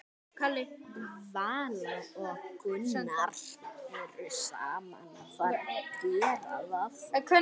Vala og Gunnar.